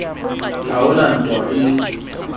ha ho na ntwa e